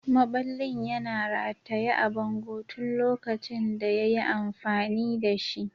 Maɓallin yana rataye a bango tun lokacin da ya yi amfani da shi.